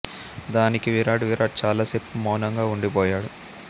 దానికి విరాట్ విరాట్ చాల సేపు మౌనంగా వుండి పోయాడు